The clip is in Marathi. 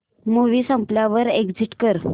मूवी संपल्यावर एग्झिट कर